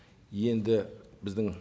енді біздің